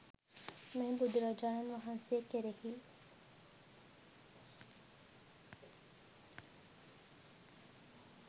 මෙය ද බුදුරජාණන් වහන්සේ කෙරෙහි